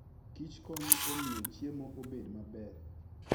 kichkonyo e miyo chiemo obed maber.